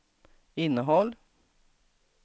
innehåll